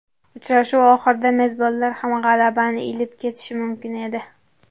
Uchrashuv oxirida mezbonlar ham g‘alabani ilib ketishi mumkin edi.